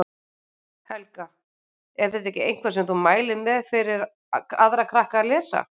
Helga: Er þetta eitthvað sem þú mælir með fyrir aðra krakka að lesa?